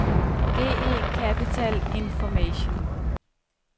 GE Capital Information